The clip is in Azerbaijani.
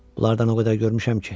Bunlardan o qədər görmüşəm ki.